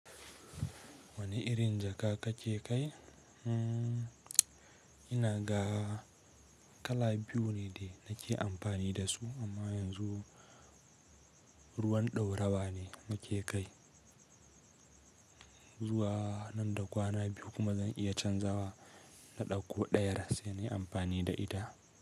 Wane irin jaka kake kai? Umm, ina ga kala biyu ne de nake amfani da su, amma yanzu ruwan ɗaurawa ne muke kai. Zuwa nan da kwana biyu kuma zan iya canzawa na ɗauko ɗayar sai na yi amfani da ita.